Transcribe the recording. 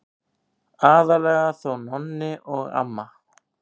Aðallega þó Nonni og amma.